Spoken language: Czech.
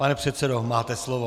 Pane předsedo, máte slovo.